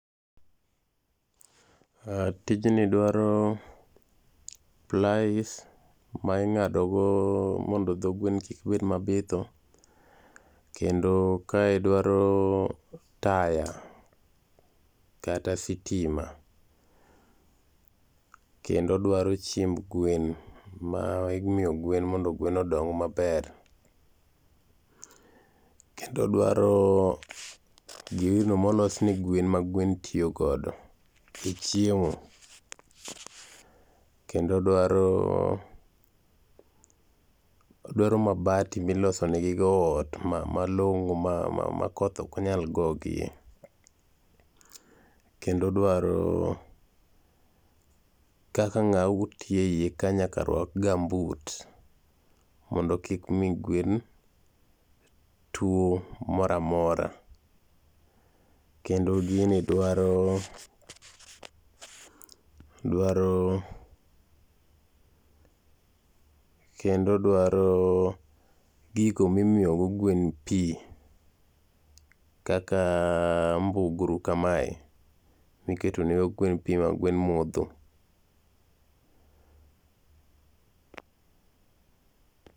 Aah, tijni dwaro plies ma ingado go mondo do gwen kik bed mabitho kendo kae dwaro taya kata sitima, kendo dwaro chiemb gwen ma imiyo gwen mondo gwen odong maber. Kendo dwaro gino molos ne gwen ma gwen tiyo godo e chiemo. Kendo dwaro ,dwaro mabati miloso negi go ot malongo ma, ma makoth ok nyal gogi. Kendo dwaro kaka ngama tiyo e iye ka nyaka rwak gambut mondo kik mi gwen tuo moro amora. Kendo gini dwaro ,dwaro ,kendo dwaro gigo mimiyo go gwen pii kaka mbugru makae miketo ne gwen pii ma gwen modho.